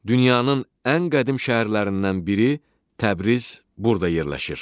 Dünyanın ən qədim şəhərlərindən biri Təbriz burda yerləşir.